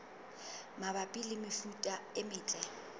mabapi le mefuta e metle